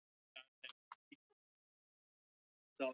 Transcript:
Geturðu ímyndað þér annan eins hrylling. Hún tók um eyrun.